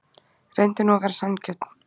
Reyndu nú að vera sanngjörn.